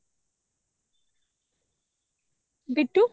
Bitu